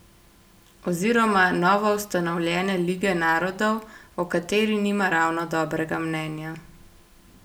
Oziroma novoustanovljene lige narodov, o kateri nima ravno dobrega mnenja.